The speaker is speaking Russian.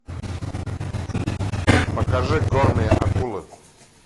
покажи горные акулы